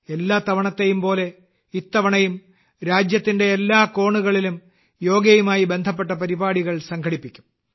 എല്ലാ തവണത്തേയും പോലെ ഇത്തവണയും രാജ്യത്തിന്റെ എല്ലാ കോണുകളിലും യോഗയുമായി ബന്ധപ്പെട്ട പരിപാടികൾ സംഘടിപ്പിക്കും